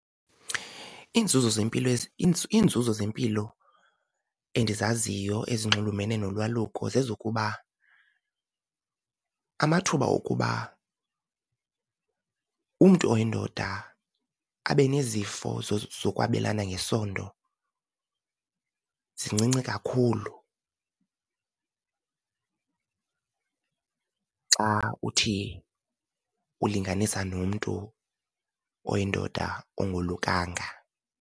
Iinzuzo zempilo , iinzuzo zempilo endizaziyo ezinxulumene nolwaluko zezokuba amathuba okuba umntu oyindoda abe nezifo zokwabelana ngesondo zincinci kakhulu xa uthi ulinganisa nomntu oyindoda ongolukanga.